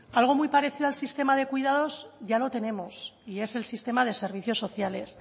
algo muy parecido al sistema de cuidados ya lo tenemos y es el sistema de servicios sociales